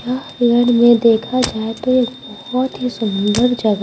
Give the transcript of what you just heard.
देखा जाए तो ये बहुत ही सुंदर जगह--